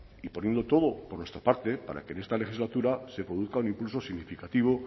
y poniendo todo por nuestra parte para que en esta legislatura se produzca un impulso significativo